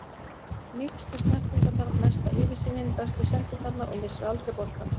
Mýkstu snertingarnar, mesta yfirsýnin, bestu sendingarnar og missir aldrei boltann.